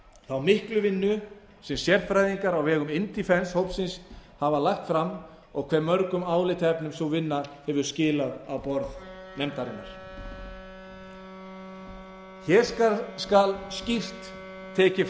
þá miklu vinnu sem sérfræðingar á vegum indefence hópsins hafa lagt fram og hve mörgum álitaefnum sú vinna hefur skilað á borð nefndarinnar hér skal skýrt tekið fram að